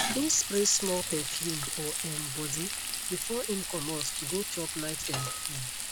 im spray small perfume for um body before im comot to go chop night um food